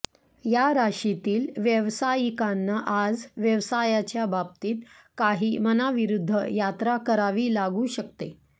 या राशीतील व्यावसायिकांना आज व्यवसायाच्या बाबतीत काही मनाविरुद्ध यात्रा करावी लागू शकते